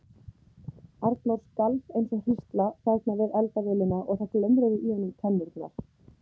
Arnór skalf eins og hrísla þarna við eldavélina og það glömruðu í honum tennurnar.